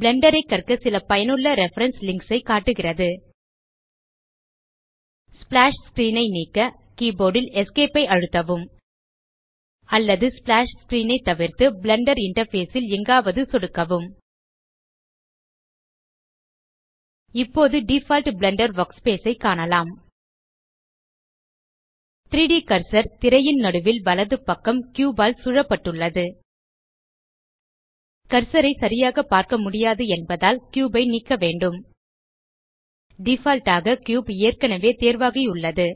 Blender ஐ கற்க சில பயனுள்ள ரெஃபரன்ஸ் லிங்க்ஸ் ஐ காட்டுகிறது ஸ்ப்ளாஷ் ஸ்க்ரீன் ஐ நீக்க கீபோர்ட் ல் ESC ஐ அழுத்தவும் அல்லது ஸ்ப்ளாஷ் ஸ்க்ரீன் தவிர்த்து பிளெண்டர் இன்டர்ஃபேஸ் ல் எங்காவது சொடுக்கவும் இப்போது டிஃபால்ட் பிளெண்டர் வர்க்ஸ்பேஸ் ஐ காணலாம் 3ட் கர்சர் திரையின் நடுவில் வலப்பக்கம் கியூப் ஆல் சூழப்பட்டுள்ளது கர்சர் ஐ சரியாக பார்க்க முடியாது என்பதால் கியூப் ஐ நீக்க வேண்டும் டிஃபால்ட் ஆக கியூப் ஏற்கனவே தேர்வாகியுள்ளது